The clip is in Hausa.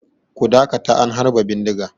Ku dakata an harba bindiga!